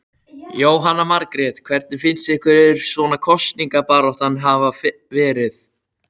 Jóhanna Margrét: Hvernig finnst ykkur svona kosningabaráttan hafa verið?